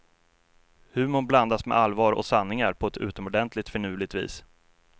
Humorn blandas med allvar och sanningar på ett utomordentligt finurligt vis.